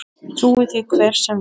Trúi því hver sem vill.